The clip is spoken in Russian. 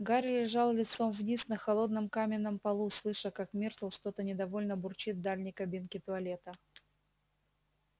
гарри лежал лицом вниз на холодном каменном полу слыша как миртл что-то недовольно бурчит в дальней кабинке туалета